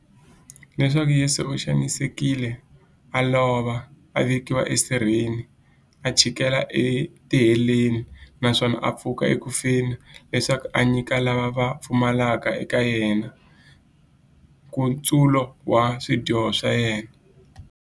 Leswaku Yesu u xanisekile, a lova, a vekiwa e sirheni, a chikela e tiheleni, naswona a pfuka eku feni, leswaku a nyika lava va pfumelaka eka yena, nkutsulo wa swidyoho swa vona.